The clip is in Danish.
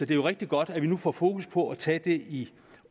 det jo rigtig godt at vi nu får fokus på at tage det i